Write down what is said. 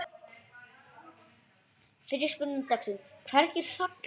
Fyrri spurning dagsins: Hverjir falla?